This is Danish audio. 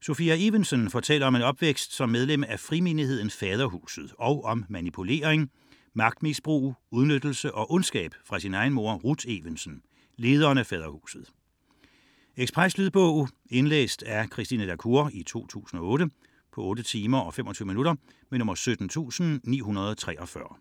Sophia Evensen fortæller om en opvækst som medlem af frimenigheden Faderhuset og om manipulering, magtmisbrug, udnyttelse og ondskab fra sin egen mor, Ruth Evensen, lederen af Faderhuset. Lydbog 17943 Indlæst af Christine La Cour, 2008. Spilletid: 8 timer, 25 minutter. Ekspresbog